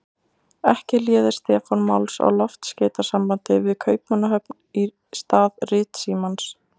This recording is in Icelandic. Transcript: Ekki léði Stefán máls á loftskeytasambandi við Kaupmannahöfn í stað ritsímans.